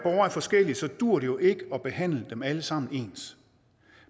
forskellige duer det jo ikke at behandle dem alle sammen ens